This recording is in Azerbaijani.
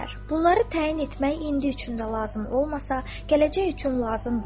Bunları təyin etmək indi üçün də lazım olmasa, gələcək üçün lazımdır.